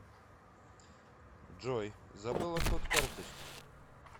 джой забыла код карточки